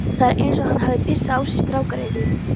Það er eins og hann hafi pissað á sig strákgreyið.